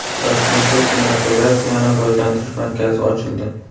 Toshkentda kinematografiyani rivojlantirish markazi ochildi.